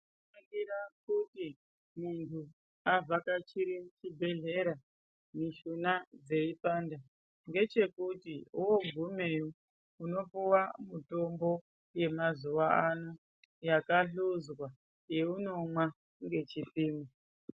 Zvinosisira kuthi munthu avhakachire chibhudhlera mishuna dzeipanda ngechekuti woogumeyo unopuwa mithombo yemazuwa ano yakahluzwa yeunomwa ngechipimo.